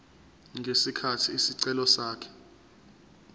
ngesikhathi isicelo sakhe